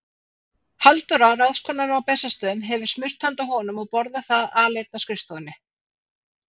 Halldóra, ráðskonan á Bessastöðum, hefur smurt handa honum og borða það aleinn á skrifstofunni.